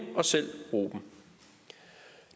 og selv bruge dem